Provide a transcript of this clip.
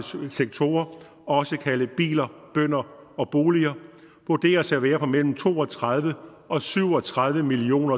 sektorer også kaldet biler bønder og boliger vurderes at være på mellem to og tredive og syv og tredive million